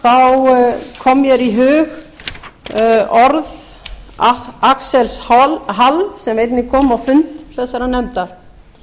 og vendilega komu mér í hug axels hall sem einnig kom á fund þessarar nefndar